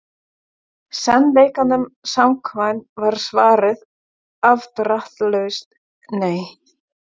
Sannleikanum samkvæmt var svarið afdráttarlaust nei.